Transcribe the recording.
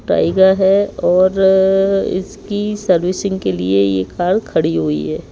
Tiger है और इसकी सर्विसिंग के लिए यह कार खड़ी हुई है।